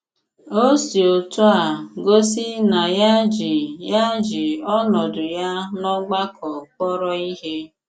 O s̀ì òtù à gòsí nà ya jì ya jì ònòdù ya n'ọ̀gbàkọ k̀pọ̀rọ̀ ìhé.